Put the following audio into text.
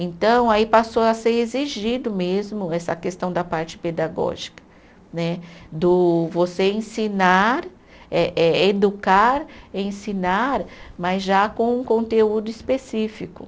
Então, aí passou a ser exigido mesmo essa questão da parte pedagógica né, do você ensinar, eh eh educar, ensinar, mas já com um conteúdo específico.